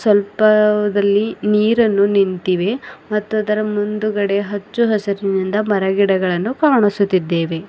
ಸ್ವಲ್ಪದಲ್ಲಿ ನೀರನ್ನು ನಿಂತಿವೆ ಮತ್ತು ಅದರ ಮುಂದ್ಗಡೆ ಹಚ್ಚು ಹಸಿರಿನಿಂದ ಮರಗಿಡಗಳನ್ನು ಕಾಣಿಸುತ್ತಿದ್ದೆವೆ.